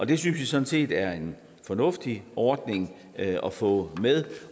det synes vi sådan set er en fornuftig ordning at få med